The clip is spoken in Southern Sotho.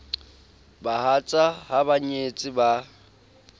bahatsa ha ba nyetse ba